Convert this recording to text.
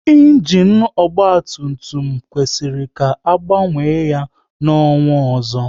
Ịnginu ọgba tum tum kwesịrị ka a gbanwe ya n'ọnwa ọzọ